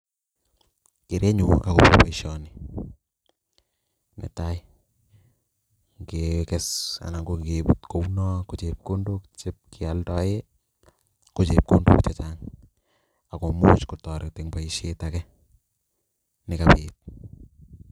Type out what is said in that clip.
Kerenyun ako baishani Netai kekes anan kokebut kounoo ko chepkondok chechang akomuch kotaret Eng baishet age